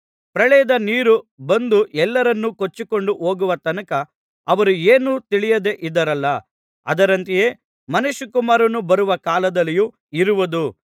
ಪ್ರಳಯದ ನೀರು ಬಂದು ಎಲ್ಲರನ್ನು ಕೊಚ್ಚಿಕೊಂಡು ಹೋಗುವ ತನಕ ಅವರು ಏನೂ ತಿಳಿಯದೆ ಇದ್ದರಲ್ಲಾ ಅದರಂತೆಯೇ ಮನುಷ್ಯಕುಮಾರನು ಬರುವ ಕಾಲದಲ್ಲಿಯೂ ಇರುವುದು